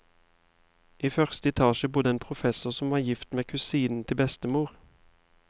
I første etasje bodde en professor som var gift med kusinen til bestemor.